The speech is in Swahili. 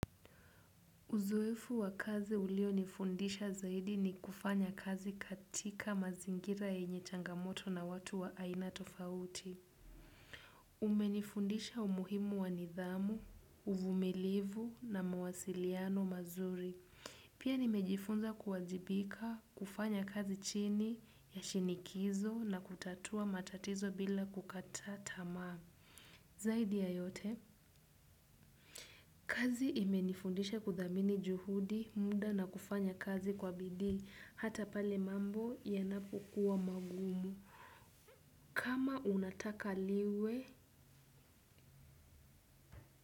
Uzoefu wa kazi ulionifundisha zaidi ni kufanya kazi katika mazingira yenye changamoto na watu wa aina tofauti. Umenifundisha umuhimu wa nidhamu, uvumilivu na mawasiliano mazuri. Pia nimejifunza kuwajibika kufanya kazi chini ya shinikizo na kutatua matatizo bila kukata tamaa. Zaidi ya yote, kazi imenifundisha kuthamini juhudi muda na kufanya kazi kwa bidii hata pale mambo yanapokua magumu. Kama unataka liwe.